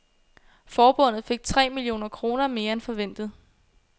Forbundet fik tre millioner kroner mere end forventet.